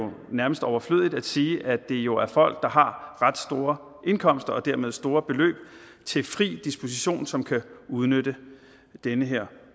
nærmest overflødigt at sige at det jo er folk der har ret store indkomster og dermed store beløb til fri disposition som kan udnytte den her